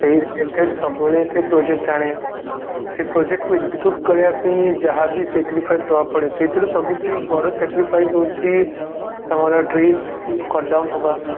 ସେଇ related ସବୁବେଳେ ସେ project ଆଣେ ସେଇ project କୁ execute କରିବା ପାଇଁ ଯାହାବି sacrifice ଦବାକୁ ପଡେ ସେଇଥିରୁ ସବୁଠୁ ବଡ sacrifice ହଉଛି ତମର tree cut down ହବା